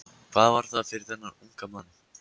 Hvað var það fyrir þennan unga mann?